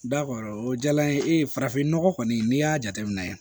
o diyara n ye ee farafin nɔgɔ kɔni n'i y'a jateminɛ